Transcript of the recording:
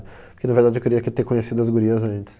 Porque, na verdade, eu queria que ter conhecido as gurias antes.